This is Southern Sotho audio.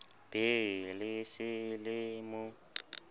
be le se le mo